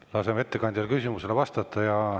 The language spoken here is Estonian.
Laseme ettekandjal küsimusele vastata.